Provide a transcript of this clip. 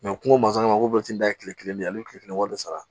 kungo ko ntɛnɛn ta ye kile kelen ye ale bɛ kile kelen wari sara